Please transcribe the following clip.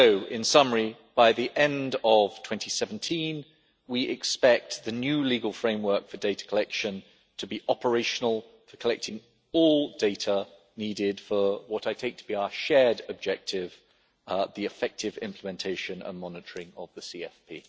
In summary, by the end of 2017 we expect the new legal framework for data collection to be operational for collecting all data needed for what I take to be our shared objective, the effective implementation and monitoring of the CFP.